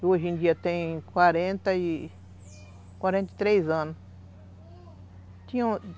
Hoje em dia tem quarenta e... Quarente e três anos